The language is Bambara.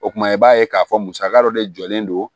O kumana i b'a ye k'a fɔ musaka dɔ de jɔlen don